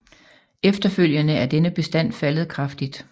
Efterfølgende er denne bestand faldet kraftigt